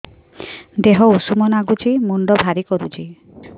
ଦିହ ଉଷୁମ ନାଗୁଚି ମୁଣ୍ଡ ଭାରି କରୁଚି